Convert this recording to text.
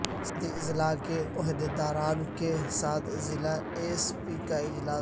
سرحدی اضلاع کے عہدیداران کے ساتھ ضلع ایس پی کا اجلاس